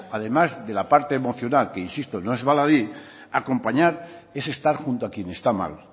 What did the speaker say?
además de la parte emocional que insisto no es baladí acompañar es estar junto a quien está mal